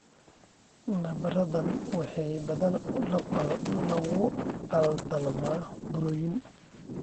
Nabarradan waxaa badanaa lagu qaldamaa burooyin.